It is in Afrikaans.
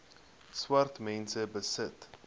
swart mense besit